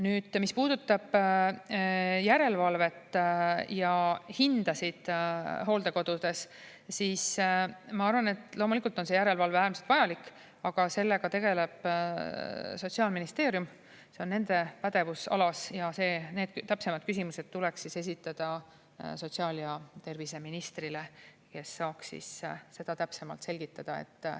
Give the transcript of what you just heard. Nüüd, mis puudutab järelevalvet ja hindasid hooldekodudes, siis ma arvan, et loomulikult on see järelevalve äärmiselt vajalik, aga sellega tegeleb Sotsiaalministeerium, see on nende pädevusalas, ja need täpsemad küsimused tuleks esitada sotsiaal‑ ja terviseministrile, kes saaks seda täpsemalt selgitada.